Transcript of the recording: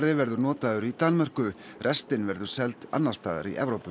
verður notaður í Danmörku restin verður seld annars staðar í Evrópu